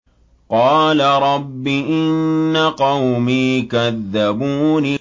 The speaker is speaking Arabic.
قَالَ رَبِّ إِنَّ قَوْمِي كَذَّبُونِ